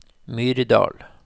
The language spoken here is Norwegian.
Myrdal